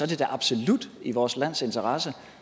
det da absolut i vores lands interesse